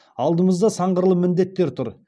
алдымызда сан қырлы міндеттер тұр